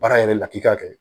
Baara yɛrɛ la k'i ka kɛ